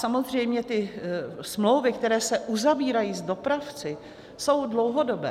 Samozřejmě ty smlouvy, které se uzavírají s dopravci, jsou dlouhodobé.